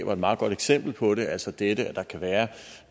var et meget godt eksempel på det altså dette at der kan være